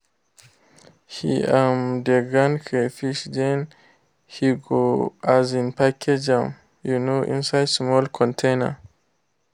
he um de grind crayfish then he go um package am um inside small containers.